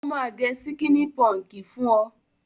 Ó máa gẹ síkíní pọǹkì fún ọ.